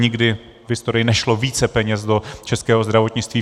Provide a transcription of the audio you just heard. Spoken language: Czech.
Nikdy v historii nešlo více peněz do českého zdravotnictví.